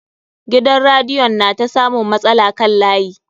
Gidan radiyon na ta samun matsala kan layi.